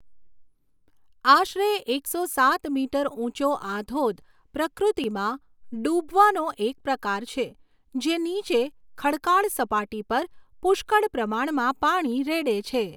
આશરે એકસો સાત મીટર ઊંચો આ ધોધ પ્રકૃતિમાં 'ડૂબવા' નો એક પ્રકાર છે, જે નીચે ખડકાળ સપાટી પર પુષ્કળ પ્રમાણમાં પાણી રેડે છે.